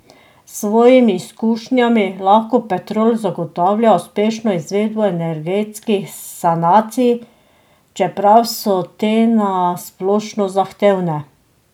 S svojimi izkušnjami lahko Petrol zagotavlja uspešno izvedbo energetskih sanacij, čeprav so te na splošno zahtevne.